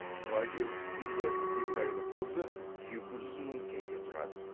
вагир тұқымды екі айлық қозы екі жүз мың теңге тұрады